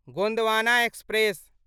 Gondwana express